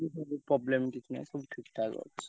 Problem କିଛି ନାହିଁ ସବୁ ଠିକ୍ ଠାକ ଅଛି।